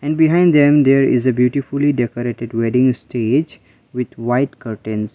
and behind them there is a beautifully decorated wedding stage with white curtains.